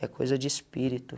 É coisa de espírito.